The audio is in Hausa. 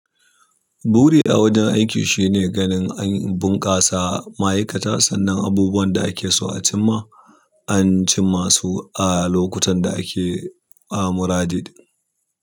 Buri a wajen aiki shine ganin an bunƙasa ma'aikata sannan abubuwan da ake so a cimma an cimmasu a lokutan da ake amurade.